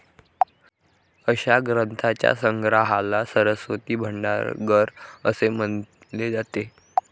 अशा ग्रंथांच्या संग्रहाला सरस्वती भंडागर असे म्हणले जाते.